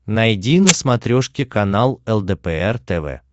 найди на смотрешке канал лдпр тв